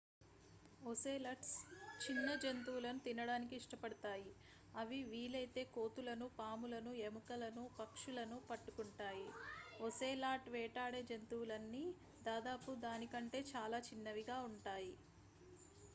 ocelots చిన్న జంతువులను తినడానికి ఇష్టపడతాయి అవి వీలైతే కోతులను పాములను ఎలుకలను పక్షులను పట్టుకుంటాయి ఒసేలాట్ వేటాడే జంతువులన్నీ దాదాపు దాని కంటే చాలా చిన్నవిగా ఉంటాయి